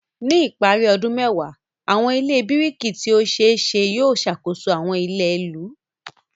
Ní ìparí ọdún mẹ́wàá, àwọn ilé biriki tí ó ṣe é ṣe yóò ṣàkóso àwọn ilẹ̀ ìlú.